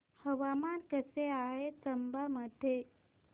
हवामान कसे आहे चंबा मध्ये